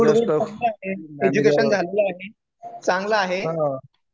Good आहे. Education झालेलं आहे. चांगलं आहे.